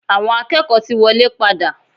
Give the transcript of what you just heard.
Awọn akẹ́kọ̀ọ́ ti wọlé padà.